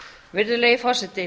virðulegi forseti